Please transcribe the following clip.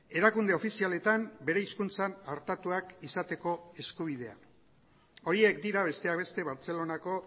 erakunde ofizialetan bere hizkuntzan artatuak izateko eskubidea horiek dira besteak beste bartzelonako